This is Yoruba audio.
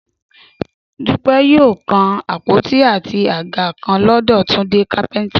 Dúpẹ́ yóò kan àpótí àti àga kan lọ́dọ̀ Túndé kápẹ́ntà